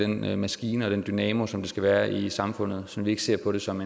den maskine og den dynamo som skat skal være i samfundet så vi ikke ser på det som